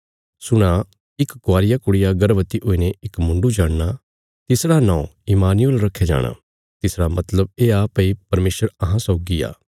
सुणा इक कवारिया कुड़िया गर्भवति हुईने इक मुण्डु जणना तिसरा नौं इम्मानुएल रखया जाणा तिसरा मतलब येआ भई परमेशर अहां सौगी आ